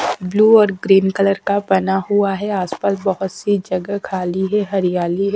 Blue और green colour का बना हुआ है आसपास बहुत सी जगह खाली है हरियाली हैं।